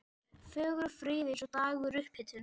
Fögur og fríð eftir eins dags upphitun.